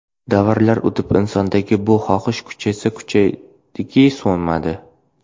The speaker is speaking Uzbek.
Davrlar o‘tib insondagi bu xohish kuchaysa kuchaydiki, so‘nmadi.